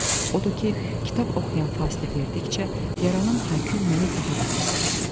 Odur ki, kitab oxuyan fasilə verdikcə, yaranan hay-küy məni daha da bezdirirdi.